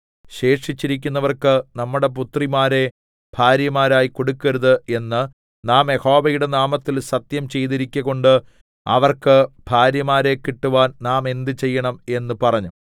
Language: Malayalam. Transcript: ശേഷിച്ചിരിക്കുന്നവർക്ക് നമ്മുടെ പുത്രിമാരെ ഭാര്യമാരായി കൊടുക്കരുത് എന്ന് നാം യഹോവയുടെ നാമത്തിൽ സത്യം ചെയ്തിരിക്കകൊണ്ട് അവർക്ക് ഭാര്യമാരെ കിട്ടുവാൻ നാം എന്ത് ചെയ്യേണം എന്ന് പറഞ്ഞു